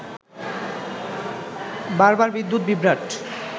বারবার বিদ্যুৎ বিভ্রাট